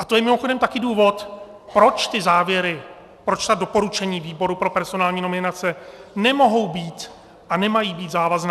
A to je mimochodem taky důvod, proč ty závěry, proč ta doporučení výboru pro personální nominace nemohou být a nemají být závazná.